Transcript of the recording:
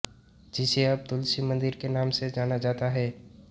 जिसे अब तुलसी मंदिर के नाम से जाना जाता है